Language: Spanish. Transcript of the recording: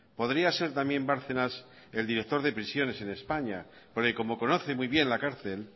podría ser también bárcenas el director de prisiones en españa porque como conoce muy bien la cárcel